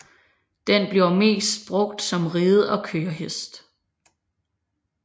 Den bliver mest brugt som ride og kørehest